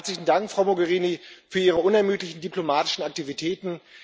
Herzlichen Dank, Frau Mogherini, für Ihre unermüdlichen diplomatischen Aktivitäten.